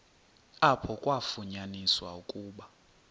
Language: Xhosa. apho kwafunyaniswa ukuba